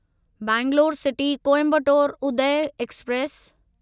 Bangalore city Coimbatore Uday express